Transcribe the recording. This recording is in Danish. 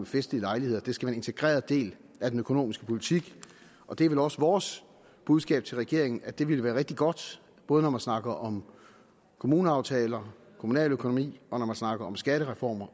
festlige lejligheder det skal være en integreret del af den økonomiske politik og det er vel også vores budskab til regeringen altså at det ville være rigtig godt både når man snakker om kommuneaftaler kommunaløkonomi og når man snakker om skattereformer